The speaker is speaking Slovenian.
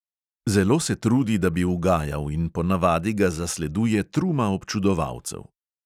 Zelo se trudi, da bi ugajal, in ponavadi ga zasleduje truma občudovalcev.